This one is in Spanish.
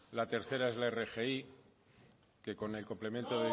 la tercera es la rgi que con el complemento